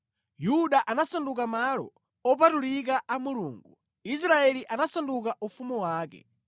Yuda anasanduka malo opatulika a Mulungu, Israeli anasanduka ufumu wake.